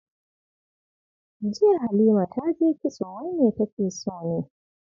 Jiya Halima ta je kitso, wai me take so ne?